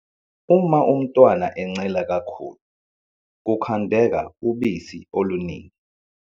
Uma umntwana encela kakhulu, kukhandeka ubusi oluningi.